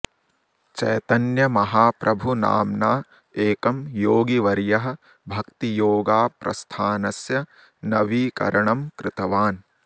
चैतन्य महाप्रभु नाम्ना एकं योगिवर्यः भक्तियोगा प्रस्थानस्य नवीकरणं कृतवान्